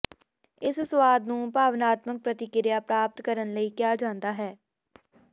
ਇਸ ਸੁਆਦ ਨੂੰ ਭਾਵਨਾਤਮਕ ਪ੍ਰਤੀਕ੍ਰਿਆ ਪ੍ਰਾਪਤ ਕਰਨ ਲਈ ਕਿਹਾ ਜਾਂਦਾ ਹੈ